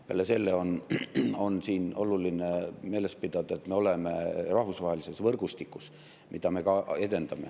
Peale selle on siin oluline meeles pidada, et me oleme rahvusvahelises võrgustikus, mida me ka edendame.